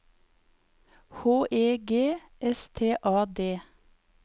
H E G S T A D